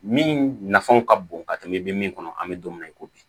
Min nafan ka bon ka tɛmɛ i bɛ min kɔnɔ an bɛ don min na i ko bi